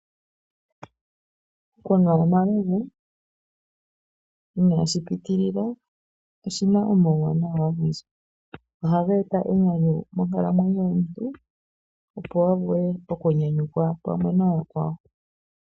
Okunwa omalovu inashi pitilila oshi na omauwanawa ogendji. Ohaga eta enyanyu monkalamwenyo yomuntu, opo a vule okunyanyukwa pamwe nayakwawo.